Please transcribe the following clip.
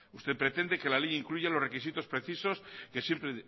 usted pretende que la ley incluya los requisitos precisos que siempre